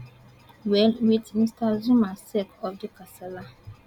well wit mr zuma sake of di kasala